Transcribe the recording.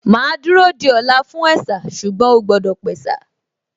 Màá dúró di ọ̀la fún ẹ̀sà ṣùgbọ́n ó gbọ́dọ̀ pẹ̀sà